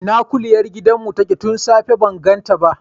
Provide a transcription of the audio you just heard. Ina kuliyar gidan mu take tun safe ban ganta ba?